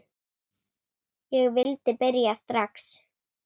Ég vildi byrja strax.